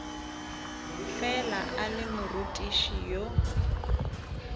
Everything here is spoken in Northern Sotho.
fela a le morutiši yo